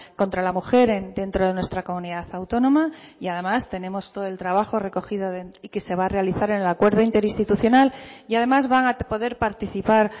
contra la mujer dentro de nuestra comunidad autónoma y además tenemos todo el trabajo recogido y que se va a realizar en el acuerdo interinstitucional y además van a poder participar